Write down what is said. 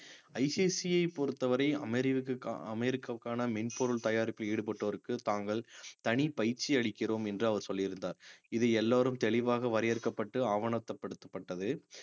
ICICI யை பொறுத்தவரை அமெரிவுக்~ அமெரிக்காவுக்கான மென்பொருள் தயாரிப்பில் ஈடுபட்டோருக்கு தாங்கள் தனி பயிற்சி அளிக்கிறோம் என்று அவர் சொல்லியிருந்தார் இது எல்லாரும் தெளிவாக வரையறுக்கப்பட்டு ஆவணப்படுத்தப்பட்டது